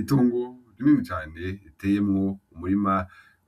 Itongo rinini cane iteyemwo umurima